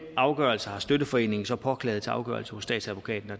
afgørelse har støtteforeningen så påklaget til afgørelse hos statsadvokaten og